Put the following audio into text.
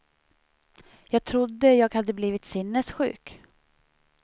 Jag trodde jag hade blivit sinnessjuk.